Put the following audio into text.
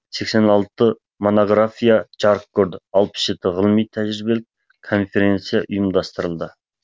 сексен алты монография жарық көрді алпыс жеті ғылыми тәжірибелік конференция ұйымдастырылды